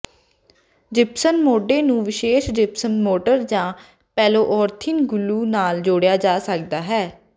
gypsum ਮੋਢੇ ਨੂੰ ਵਿਸ਼ੇਸ਼ ਜਿਪਸਮ ਮੋਟਰ ਜਾਂ ਪੋਲੀਉਰੀਥੇਨ ਗਲੂ ਨਾਲ ਜੋੜਿਆ ਜਾ ਸਕਦਾ ਹੈ